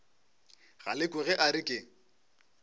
galekwe ge a re ke